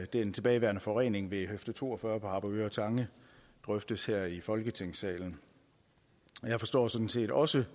den tilbageværende forurening ved høfde to og fyrre på harboøre tange drøftes her i folketingssalen jeg forstår sådan set også